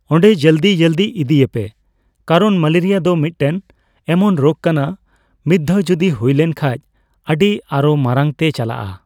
ᱚᱸᱰᱮ ᱡᱚᱞᱫᱤ-ᱡᱚᱞᱫᱤ ᱤᱫᱤᱭᱮᱯᱮ ᱠᱟᱨᱚᱱ ᱢᱮᱞᱮᱨᱤᱭᱟ ᱫᱚ ᱢᱤᱜᱴᱮᱱ ᱮᱢᱚᱱ ᱨᱳᱜᱽ ᱠᱟᱱᱟ ᱢᱤᱛᱫᱷᱟᱣ ᱡᱩᱫᱤ ᱦᱩᱭ ᱞᱮᱱ ᱠᱷᱟᱡ ᱟ.ᱰᱤ ᱟᱨᱚ ᱢᱟᱨᱟᱝ ᱛᱮ ᱪᱟᱞᱟᱜᱼᱟ ᱾